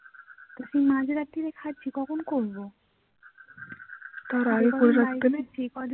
তা কি মাঝ রাত্রে খাচ্ছি কখন করবো